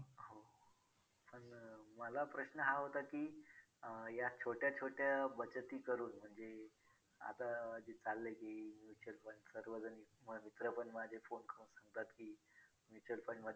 पण तरी मला असं वाटतंय अ naturally हळूहळू म्हणजे खूप वर्ष झाल्यामुळे तो किल्ला नैसर्गिक रित्या हे होन वेगळं मंजे हळूहळू तो खराब होतोय .